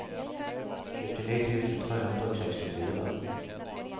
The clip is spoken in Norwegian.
syttini tusen tre hundre og sekstifire